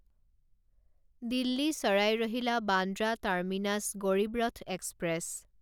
দিল্লী চাৰাই ৰহিলা Bandra terminus Garib Rath express